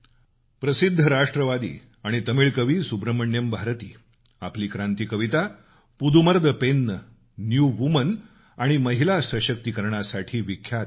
प्रसिद्ध राष्ट्रवादी आणि तमिळ कवी सुब्रमण्यम भारती आपली क्रांती कविता पुदुमर्इ पेन्न न्यू वूमन आणि महिला सशक्तीकरणासाठी विख्यात आहेत